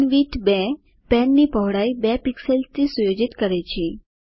pen width 2 પેનની પહોળાઇ ૨ પિક્સેલ્સથી સુયોજિત કરે છે